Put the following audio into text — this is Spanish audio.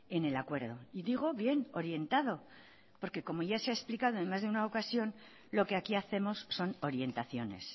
en el acuerdo y digo bien orientado porque como ya se ha explicado en más de una ocasión lo que aquí hacemos son orientaciones